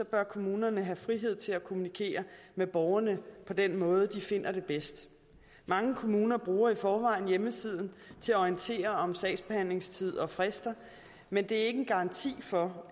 bør kommunerne have frihed til at kommunikere med borgerne på den måde de finder det bedst mange kommuner bruger i forvejen hjemmesiden til at orientere om sagsbehandlingstid og frister men det er ikke en garanti for